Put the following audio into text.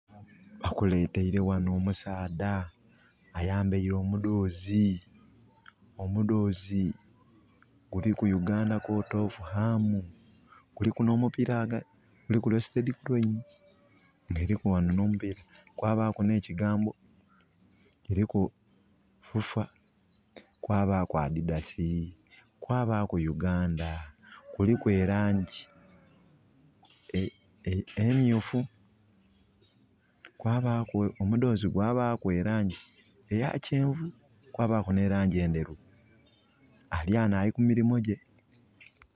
Bakuleteire ghano omusaadha ayambaire omudhozi, omudhozi guliku Uganda court of arms. Kuliku n'omupiira, kuliku Crested Crane, nga eliku ghano n'omupiira, kwabaku n'ekigambo, kiliku FUFA, kwabaku adidas, kwabaku Uganda. Kuliku elangi emyufu kwabaku omudhozi gwabaku elangi eya kyenvu kwabaku n'endheru. Ali wano alikumirimo gye.